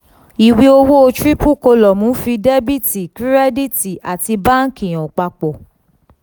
iwe owo triple column nfi debiti kirediti ati banki han papo.